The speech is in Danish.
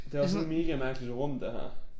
Det også et megamærkeligt rum det her